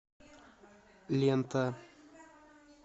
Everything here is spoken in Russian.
лента